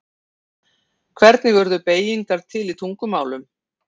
Hvernig urðu beygingar til í tungumálum?